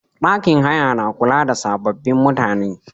Ɗakin haya na kula da sababbin mutane.